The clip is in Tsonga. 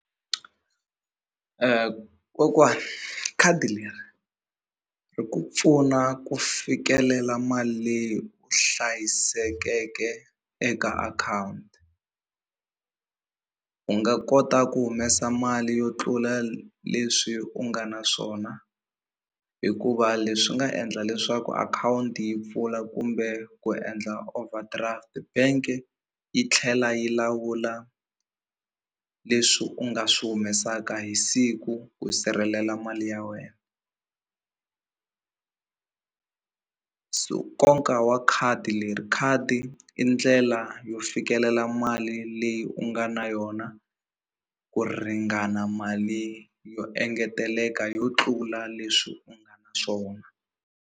Kokwani khadi leri ri ku pfuna ku fikelela mali leyi hlayisekeke eka akhawunti u nga kota ku humesa mali yo tlula leswi u nga na swona hikuva leswi nga endla leswaku akhawunti yi pfula kumbe ku endla overdraft bank yi tlhela yi lawula leswi u nga swi humesaka hi siku ku sirhelela mali ya wena so nkoka wa khadi leri khadi i ndlela yo fikelela mali leyi u nga na yona ku ringana mali yo engeteleka yo tlula leswi swona.